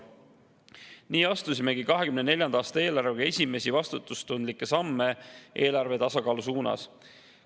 Nii astumegi 2024. aasta eelarvega esimesi vastutustundlikke samme eelarve tasakaalu suunas.